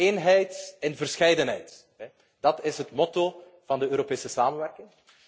Eenheid in verscheidenheid. Dat is het motto van de Europese samenwerking.